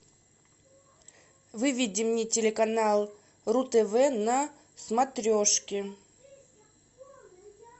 выведи мне телеканал ру тв на смотрешке